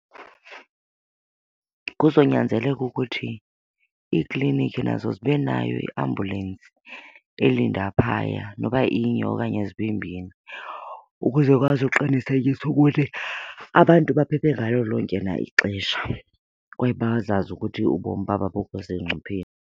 Kuzonyanzeleka ukuthi iiklinikhi nazo zibe nayo iambulensi elinda phaya noba inye okanye zibe mbini ukuze bazoqinisekisa ukuthi abantu baphephe ngalo lonke na ixesha kwaye bazazi ukuthi ubomi babo abukho sengcupheni.